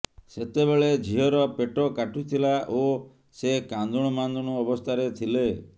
ସେତେବେଳେ ଝିଅର ପେଟ କାଟୁଥିଲା ଓ ସେ କାନ୍ଦୁଣୁମାନ୍ଦୁଣୁ ଅବସ୍ଥାରେ ଥିଲେ